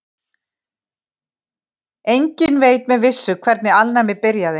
Enginn veit með vissu hvernig alnæmi byrjaði.